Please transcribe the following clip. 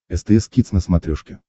стс кидс на смотрешке